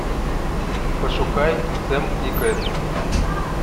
пошукай сэм и кэт